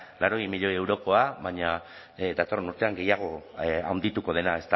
laurogei milioi eurokoa baina datorren urtean gehiago handituko dena